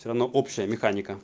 всё-равно общая механика